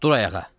Dur ayağa.